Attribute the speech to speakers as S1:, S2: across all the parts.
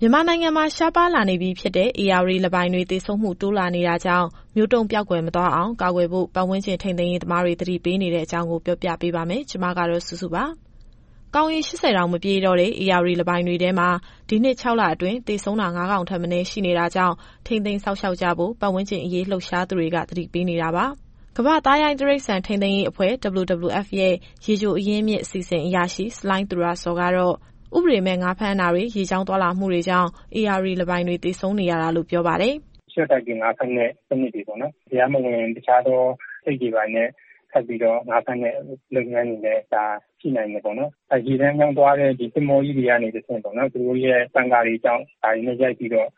S1: မြန်မာနိုင်ငံမှာ ရှားပါးလာနေပြီဖြစ်တဲ့ ဧရာဝတီလင်းပိုင်တွေ သေဆုံးမှု တိုးလာနေတာကြောင့် မျိုးတုန်းပျောက်ကွယ် မသွားအောင် ကာကွယ်ဖို့ ပတ်ဝန်းကျင်ထိန်းသိမ်းရေး သမားတွေ သတိပေးနေတဲ့အကြောင်း ဗွီအိုအေမြန်မာပိုင်း သတင်းထောက်စုစုက ပြောပြပါမယ်။ ကောင်ရေ ၈၀ တောင်မပြည့်တော့တဲ့ ဧရာဝတီလင်းပိုင်တွေထဲမှာ ဒီနှစ် ၆ လအတွင်း သေဆုံးတာ ၅ ကောင်ထက်မနည်း ရှိနေတာကြောင့် ထိန်းသိမ်းစောင့်ရှောက်ကြဖို့ ပတ်ဝန်းကျင်အရေး လှုပ်ရှားသူတွေ သတိပေးနေတာပါ။ ကမ္ဘာ့သားရိုင်းတိရစ္ဆာန် ထိန်းသိမ်းရေးအဖွဲ့ (WWF) ရဲ့ ရေချိုအရင်းမြစ် အစီစဉ်အရာရှိ ဆလိုင်းသူရဇော်ကတော့ ဥပဒေမဲ့ ငါးဖမ်းတာတွေ ရေကြောင်းသွားလာမှုတွေကြောင့် ဧရာဝတီလင်းပိုင်တွေ သေဆုံးနေရတာလို့ ပြောပါတယ်
S2: ။ “ရှော့တိုက်ပြီး ငါးဖမ်းတဲ့ စနစ်တွေ၊ တရားမဝင် အဆိပ်ခတ်ငါးဖမ်းတဲ့ လုပ်ငန်းတွေလည်း ရှိနိုင်တယ်ပေါ့။ ရေလမ်းကြောင်းသွားတဲ့ သင်္ဘောကြီးတွေကနေတဆင့် သူတို့ရဲ့ပန်ကာတွေကြောင့် ဒါတွေနဲ့ရိုက်ပြီးတော့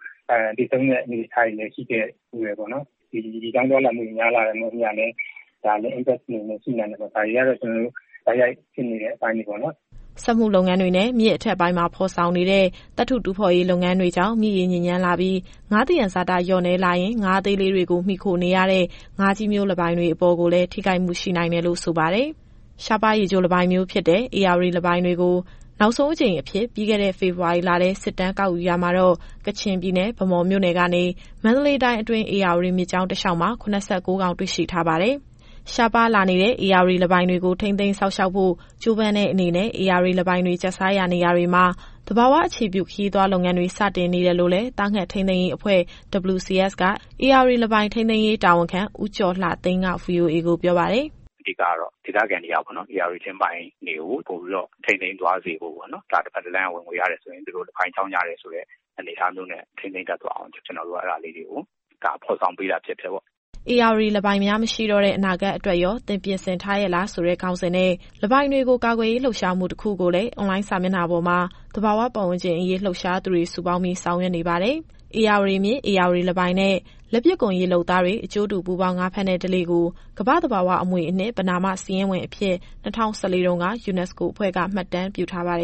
S2: သေဆုံးတဲ့အနေအထားတွေလည်း ရှိခဲ့ဖူးတယ်။ ဒီရေကြောင်းသွားလာမှုတွေ များလာတဲ့အမျှလည်း ဒါလည်းသက်ရောက်မှုရှိနိုင်တယ်။ ဒါတွေကတော့ တိုက်ရိ
S3: ုက်ဖြစ်နေတဲ့ အပိုင်းတွေပေါ့။”
S1: စက်မှုလုပ်ငန်းတွေနဲ့ မြစ်အထက်ပိုင်းမှာ ဖော်ဆောင်နေတဲ့ သတ္တုတူးဖော်လုပ်ငန်းတွေကြောင့် မြစ်ရေညစ်ညမ်းလာပြီး ငါးသယံဇာတလျှော့နည်းလာရင် ငါးအသေးလေးတွေကို မှီခိုနေရတဲ့ ငါးကြီးမျိုးလင်းပိုင်တွေအပေါ်ကိုလည်း ထိခိုက်မှုရှိနိုင်တယ်လို့ ဆိုပါတယ်။ ရှားပါးရေချိုလင်းပိုင်မျိုးဖြစ်တဲ့ ဧရာဝတီလင်းပိုင်တွေကို နောက်ဆုံးအကြိမ်အဖြစ် ပြီးခဲ့တဲ့ ဖေဖော်ဝါရီလထဲ စစ်တမ်းကောက်ယူရာမှာတော့ ကချင်ပြည်နယ် ဗန်းမော်မြို့နယ်ကနေ မန္တလေးတိုင်းအတွင်း ဧရာဝတီမြစ်ကြောင်း တလျှောက်မှာ ၇၉ ကောင် တွေ့ရှိထားပါတယ်။ ရှားပါးလာနေတဲ့ ဧရာဝတီလင်းပိုင်တွေကို ထိန်းသိမ်းစောင့်ရှောက်ဖို့ ကြိုးပမ်းတဲ့အနေနဲ့ ဧရာဝတီလင်းပိုင်တွေ ကျတ်စားရာနေရာတွေမှာ သဘာဝအခြေပြု ခရီးသွားလုပ်ငန်းတွေ စတင်နေတယ်လို့လည်း သားငှက်ထိန်းသိမ်းရေးအဖွဲ့ WCS က ဧရာဝတီလင်းပိုင် ထိန်းသိမ်းရေးတာဝန်ခံ ဦးကျော်လှသိန်းက VOA ကိုပြောပါတယ်။
S3: “အဓိကတော့ ဒေသခံတွေက ဧရာဝတီလင်းပိုင်းတွေကို ပိုပြီးတော့ထိန်းသိမ်းသွားစေဖို့ပေါ့။ ဒါတဖက်တလမ်းက ဝင်ငွေရတယ်ဆိုရင် လင်းပိုင်ကြောင့်ရတယ်ဆိုတဲ့ အနေအထားမျိုးနဲ့ ထိန်းသိမ်းတတ်သွားအောင် ကျနော်တို့က အဲဒါလေးတွေကို ဖော်ဆောင်ပေးတာဖြစ်ပါတယ်။”
S1: “ဧရာဝတီလင်းပိုင်များ မရှိတော့တဲ့ အနာဂတ်အတွက်ရော သင်ပြင်ဆင်ထားရဲ့လား” ဆိုတဲ့ ခေါင်းစဉ်နဲ့ လင်းပိုင်တွေကိုကာကွယ်ရေး လှုပ်ရှားမှု တခုကိုလည်း အွန်လိုင်းစာမျက်နှာပေါ်မှာ သဘာဝပတ်ဝန်းကျင်အရေး လှုပ်ရှားသူတွေစုပေါင်းပြီး ဆောင်ရွက်နေပါတယ်။ ဧရာဝတီမြစ်၊ ဧရာဝတီလင်းပိုင်နဲ့ လက်ပစ်ကွန်ရေလုပ်သားတွေ အကျိုးတူပူးပေါင်း ငါးဖမ်းတဲ့ဓလေ့ကို ကမ္ဘာ့သဘာဝအမွေအနှစ် ပဏာမစာရင်းဝင်အဖြစ် ၂၀၁၄ တုန်းက UNESCO အဖွဲ့က မှတ်တမ်းပြုထားပါတယ်